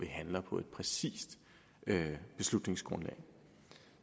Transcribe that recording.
handler på et præcist beslutningsgrundlag